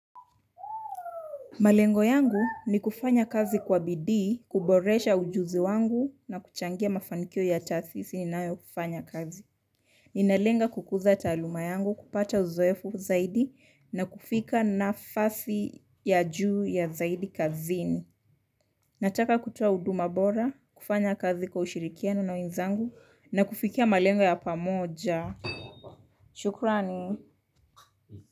Malengo yangu ni kufanya kazi kwa bidii, kuboresha ujuzi wangu na kuchangia mafanikio ya taasisi ninayofanyia kazi. Ninalenga kukuza taaluma yangu, kupata uzoefu zaidi na kufikia nafasi ya juu ya zaidi kazini. Nataka kutoa huduma bora, kufanya kazi kwa ushirikiano na wenzangu na kufikia malengo ya pamoja. Shukrani.